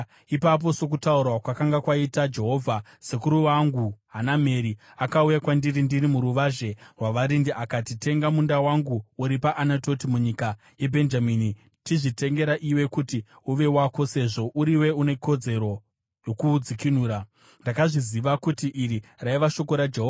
“Ipapo, sokutaura kwakanga kwaita Jehovha, sekuru wangu Hanameri akauya kwandiri ndiri muruvazhe rwavarindi akati, ‘Tenga munda wangu uri paAnatoti munyika yeBhenjamini. Chizvitengera iwe kuti uve wako sezvo uriwe une kodzero yokuudzikinura.’ “Ndakazviziva kuti iri raiva shoko raJehovha;